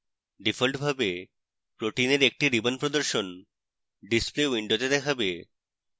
ডিফল্টভাবে protein এর একটি ribbon প্রদর্শন display window দেখাবে